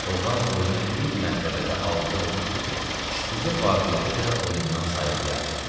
Oğlan oyuna bir mərtəbədə avulidə olmuşdu ki, gecə vaqiədə də oyundan sayıqlayardı.